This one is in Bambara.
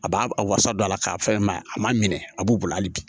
A b'a a wasa don a la k'a fɛn mɛn a ma minɛ a b'u bolo hali bi